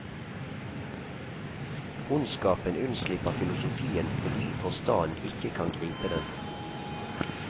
Ondskapen unnslipper filosofien fordi forstanden ikke kan gripe den.